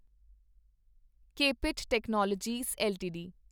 KPIT technologies LTD